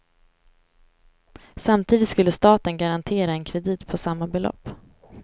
Samtidigt skulle staten garantera en kredit på samma belopp.